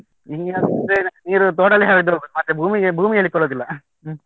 ಈಗಿನದ್ದು ನೀರು ತೋಡಲ್ಲಿ ಹರಿದು ಹೋಗುದು, ಮತ್ತೆ ಭೂಮಿಗೆ ಭೂಮಿಯಲ್ಲಿ .